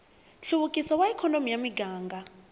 nhluvukiso wa ikhonomi ya muganga